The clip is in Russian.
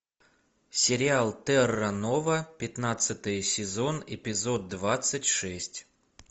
сериал терра нова пятнадцатый сезон эпизод двадцать шесть